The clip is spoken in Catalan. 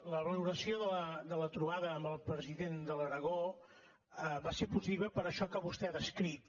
la valoració de la trobada amb el president de l’aragó va ser possible per això que vostè ha descrit